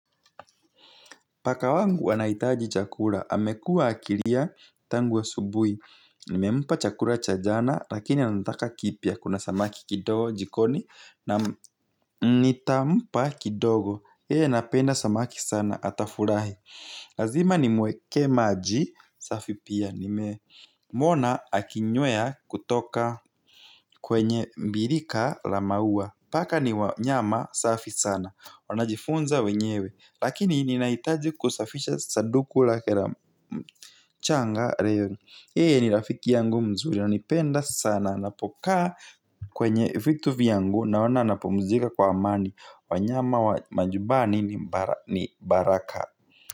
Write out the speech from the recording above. Paka wangu anahitaji chakula, amekua akilia tangu asubuhi. Nimempa chakula cha jana, lakini anataka kipya, kuna samaki kidogo jikoni, na nitampa kidogo. Yeye anapenda samaki sana, atafurahi. Lazima nimwekee maji, safi pia, nimemuona akinywea kutoka kwenye birika la maua. Paka ni wanyama safi sana, wanajifunza wenyewe. Lakini ninahitaji kusafisha saduku lake la mchanga. Yeye ni rafiki yangu mzuri ananipenda sana anapokaa kwenye vitu vyangu, naona anapumzika kwa amani. Wanyama wa manyumbani ni baraka.